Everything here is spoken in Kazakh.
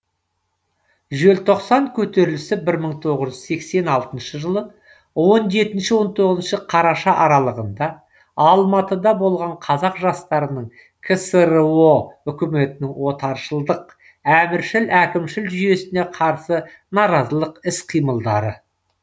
желтоқсан көтерілісі бір мың тоғыз жүз сексен алтыншы жылы он жетінші он тоғызыншы қараша аралығында алматыда болған қазақ жастарының ксро үкіметінің отаршылдық әміршіл әкімшіл жүйесіне қарсы наразылық іс қимылдары